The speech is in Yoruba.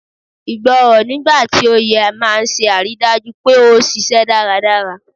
Ìgbọràn, nigba ti o yẹ, maa n se ariidaju pe o ṣiṣẹ daradara